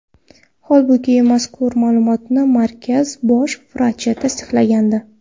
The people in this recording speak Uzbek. Holbuki, mazkur ma’lumotni markaz bosh vrachi tasdiqlagandi.